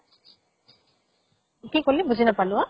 কি কলি বুজি নাপালো অ।